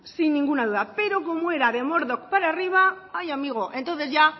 sin ninguna duda pero como era de mordor para arriba ay amigo entonces ya